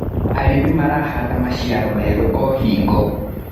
Arĩmi marahanda maciaro merũ o hingo.